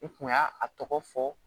I kun y'a a tɔgɔ fɔ